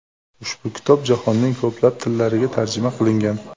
Ushbu kitob jahonning ko‘plab tillariga tarjima qilingan.